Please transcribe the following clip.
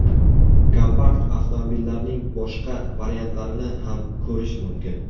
Kompakt avtomobillarning boshqa variantlarini ham ko‘rish mumkin.